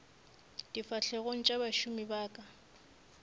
difahlegong tša bašomi ba ka